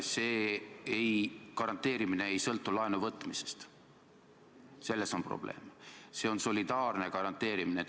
See garanteerimine ei sõltu laenuvõtmisest, selles on probleem, see on solidaarne garanteerimine.